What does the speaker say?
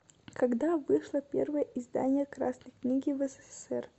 когда вышло первое издание красной книги в ссср